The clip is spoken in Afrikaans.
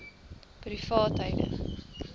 privaatheidu